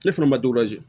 Ne fana ma